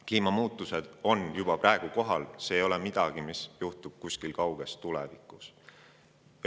Kliimamuutused on juba praegu kohal, need ei ole midagi sellist, mis juhtuvad kuskil kauges tulevikus.